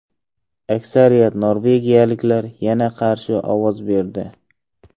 Aksariyat norvegiyaliklar yana qarshi ovoz berdi.